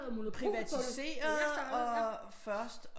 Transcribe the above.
Privatiseret og først